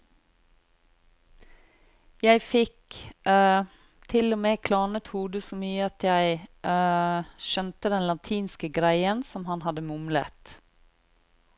Jeg fikk til og med klarnet hodet så mye at jeg skjønte den latinske greien som han hadde mumlet.